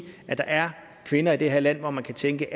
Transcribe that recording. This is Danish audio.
at der er kvinder i det her land hvor man kan tænke